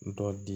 N dɔ di